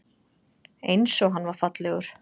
Einsog hann var fallegur.